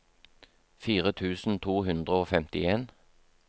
fire tusen to hundre og femtien